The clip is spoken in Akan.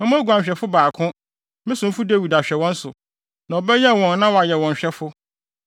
Mɛma oguanhwɛfo baako, me somfo Dawid, ahwɛ wɔn so, na ɔbɛyɛn wɔn na wayɛ wɔn hwɛfo.